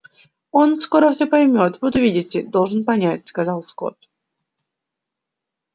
он скоро все поймёт вот увидите должен понять сказал скотт